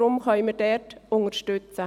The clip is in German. Deshalb können wir diesen unterstützen.